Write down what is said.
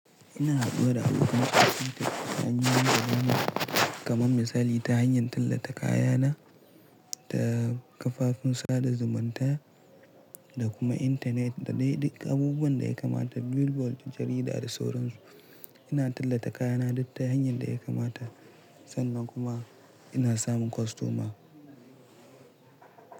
Ina hado da abokan aikin tafiya, ta hanyar zamani kamar misali ta hanyar tallata kaya na ta kafofin sada zumunta da kuma intanet da dai duk abubuwan da ya kamata. Bilbo, jarida da sauran su. Ina tallata kaya na duka ta hanyar da ya kamata sannan kuma ina samun kostoma.